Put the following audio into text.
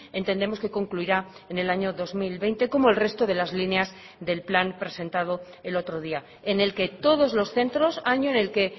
entendemos que concluirá en el año dos mil veinte como el resto de las líneas del plan presentado el otro día en el que todos los centros año en el que